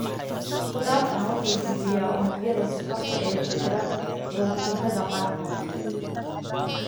Isku-dhafkan wuxuu jebiyaa unugyada sonkorta (oligosaccharides) ee ku xiran borotiinnada qaarkood (glycoproteins) ama dufan (glycolipids).